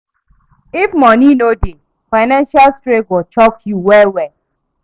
If moni no dey, financial strain go choke you well well.